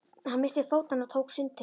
Hann missti fótanna og tók sundtökin.